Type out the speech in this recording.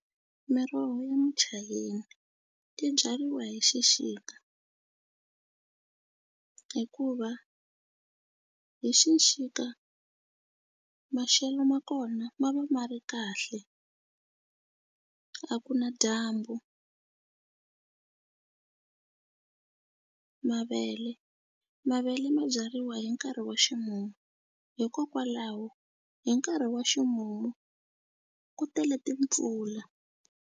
Miroho ya muchayina ti byariwa hi xixika hikuva hi xixika maxelo ma kona ma va ma ri kahle a ku na dyambu mavele mavele ma byariwa hi nkarhi wa ximumu hikokwalaho hi nkarhi wa ximumu ku tele timpfula.